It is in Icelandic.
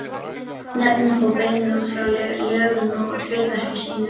Nöfnin fá beinin út frá lögun og hlutverki sínu.